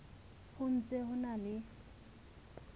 ho ntse ho na le